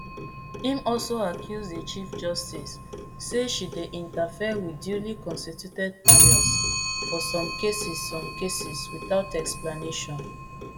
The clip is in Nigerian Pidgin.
im also accuse di chief justice say she dey interfere wit duly constituted panels for some cases some cases without explanation